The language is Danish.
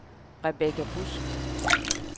Rebecca Busk